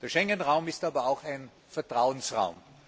Der Schengen Raum ist aber auch ein Vertrauensraum.